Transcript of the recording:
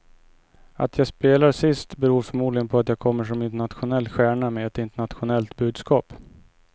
Att jag spelar sist beror förmodligen på att jag kommer som en internationell stjärna med ett internationellt budskap.